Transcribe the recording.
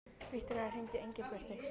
Viktoría, hringdu í Engilbjörtu.